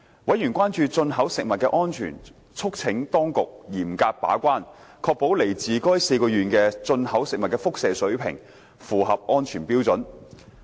委員關注進口食物的安全，促請當局嚴格把關，確保來自該4個縣的進口食物的輻射水平符合安全標準。